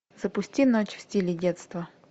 запусти ночь в стиле детства